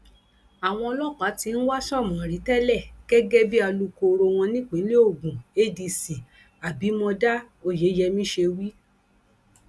àwọn ọlọpàá tí ń wá sómórì tẹlẹ gẹgẹ bí alukóró wọn nípìnlẹ ogun adc abimodá oyeyèmí ṣe wí